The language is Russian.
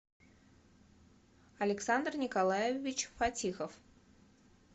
александр николаевич фатихов